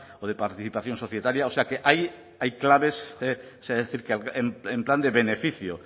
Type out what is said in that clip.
o de participación societaria o sea que hay claves en plan de beneficio